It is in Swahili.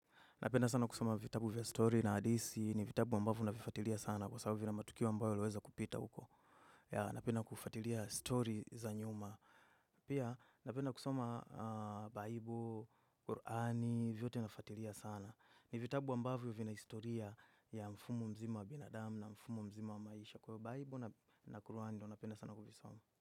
Napenda sana kusoma vitabu vya story na hadithi. Ni vitabu ambavyo navifuatilia sana kwa sababu vina matukio ambayo yaliweza kupita huko. Napenda kufuatilia story za nyuma. Pia napenda kusoma bible Qur'ani, vyote nafuatilia sana. Ni vitabu ambavyo vina historia ya mfumo mzima wa binadamu na mfumo mzima wa maisha. Kwa bible na quran ndiyo napenda sana kuvisoma.